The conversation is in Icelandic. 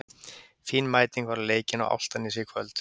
Fín mæting var á leikinn á Álftanesi í kvöld.